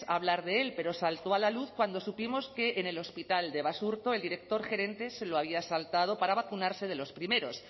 hablar de él pero saltó a la luz cuando supimos que en el hospital de basurto el director gerente se lo había saltado para vacunarse de los primeros